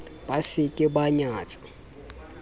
ba se ke ba nyantsha